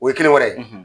O ye kelen wɛrɛ ye